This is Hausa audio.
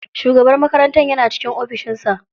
Shugaban makarantar yana cikin ofishin sa.